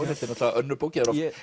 náttúrulega önnur bókin það